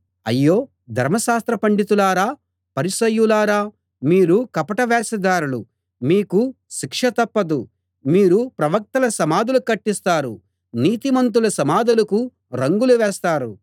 అయ్యో ధర్మశాస్త్ర పండితులారా పరిసయ్యులారా మీరు కపట వేషధారులు మీకు శిక్ష తప్పదు మీరు ప్రవక్తల సమాధులు కట్టిస్తారు నీతిమంతుల సమాధులకు రంగులు వేస్తారు